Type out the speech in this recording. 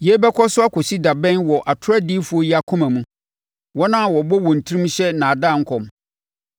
Yei bɛkɔ so akɔsi da bɛn wɔ atorɔ adiyifoɔ yi akoma mu? Wɔn a wɔbɔ wɔn tirim hyɛ nnaadaa nkɔm?